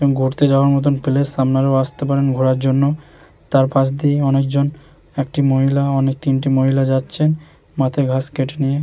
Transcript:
ঘুরতে যাওয়ার মতন প্লেস আপনারাও আসতে পারেন ঘোরার জন্য তার পাশ দিয়ে অনেকজন একটি মহিলা অনেক তিনটে মহিলা যাচ্ছে মাথায় ঘাস কেটে নিয়ে।